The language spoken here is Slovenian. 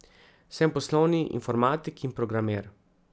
Sem poslovni informatik in programer.